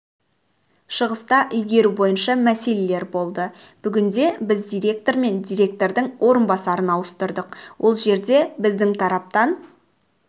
шығыста игеру бойынша мәселелер болды бүгінде біз директор мен директордың орынбасарын ауыстырдық ол жерде біздің тараптан